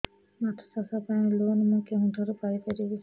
ମାଛ ଚାଷ ପାଇଁ ଲୋନ୍ ମୁଁ କେଉଁଠାରୁ ପାଇପାରିବି